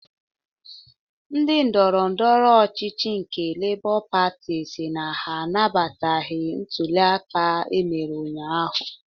Ndi ndọrọndọrọ ọchịchị nke Lebọ Patị sịrị na ha anabataghị ntụli aka emere ụnyaahụ.